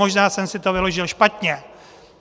Možná jsem si to vyložil špatně.